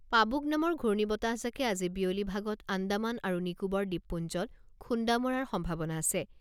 Pabuk নামৰ ঘূৰ্ণী বতাহজাকে আজি বিয়লি ভাগত আন্দামান আৰু নিকোবৰ দ্বীপপুঞ্জত খুন্দা মৰাৰ সম্ভাৱনা আছে।